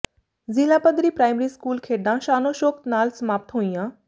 ਜ਼ਿਲ੍ਹਾ ਪੱਧਰੀ primary school ਖੇਡਾਂ ਸ਼ਾਨੋ ਸ਼ੌਕਤ ਨਾਲ ਸਮਾਪਤ ਹੋਈਆਂ